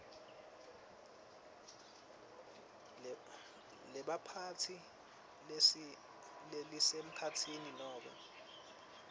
lebaphatsi lelisemkhatsini nome